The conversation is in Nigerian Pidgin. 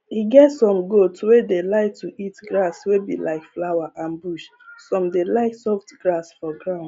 e get some goat wey dey like to eat grass wey be like flower and bush some dey like soft grass for ground